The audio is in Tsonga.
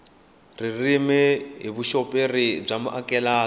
ririmi hi vuxoperi bya amukeleka